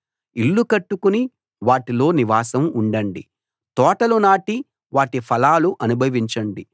ఇళ్ళు కట్టుకుని వాటిలో నివాసం ఉండండి తోటలు నాటి వాటి ఫలాలు అనుభవించండి